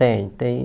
Tem, tem.